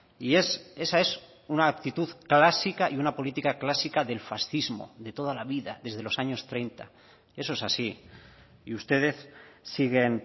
y esa es una actitud clásica y una política clásica del fascismo de toda la vida desde los años treinta eso es así y ustedes siguen